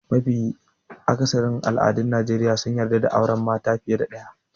Mafi akatharin al'adun Najeriya sun yarda da aure mata fiye da ɗaya.